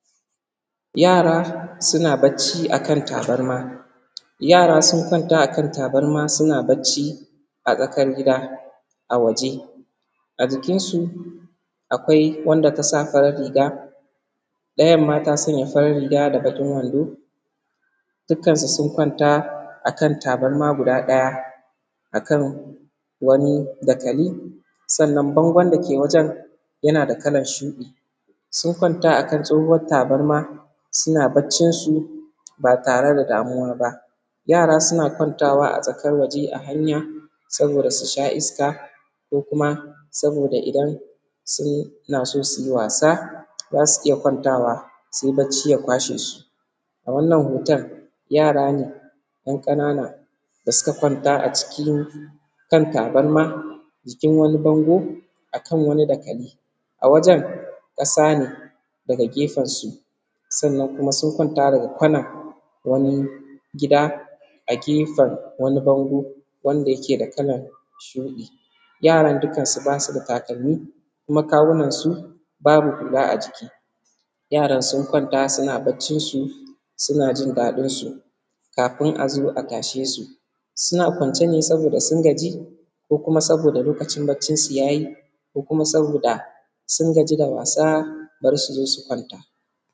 Yara suna bacci a kan tabarma, yara suna bacci a kan tabarma a tsakar gida a waje. A jikinsu akwai wanda ta sa farin riga ɗayan ma ta sanya farin riga da dogon wando duk kansu sun kwanta akan tabarma guda ɗaya akan wani dakali, sannan bangon dake wajen yana da kalar shuɗi, sun kwanta a kan tsohuwar tabarma suna baccinsu ba tare da damuwa ba. Yara suna watayawa a tsakar waje a hanya saboda su sha iska ko kuma saboda idan suna su yi wasa za su iya kwantawa se bacci ya kwashe su. A wannan hoton yara ne ‘yan ƙanana da suka kwanta a cikin kan tabarma jikin wani bano kan wani dakali a wajen ƙasa ne daga gefen su sannan kuma sun kwanta daga wani gida a gefen wani bango wanda ke da kalan shuɗi, yaran dukan su ba su da takalmi kuma kawunan su babu hula. A jiki yaran sun kwanta suna baccin su suna jin daɗin su kafun a zo a tashe su, suna kwance ne saboda sun gaji ko kuma saboda lokaci baccin su ya yi ko kuma saboda sun gaji da wasa dan su zo su kwanta.